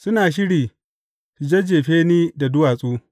Suna shiri su jajjefe ni da duwatsu.